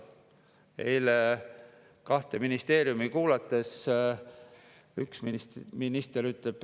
Eile kuulasime kahte.